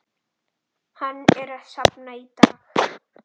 Hann er safn í dag.